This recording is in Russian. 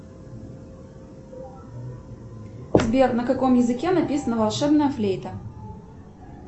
сбер на каком языке написана волшебная флейта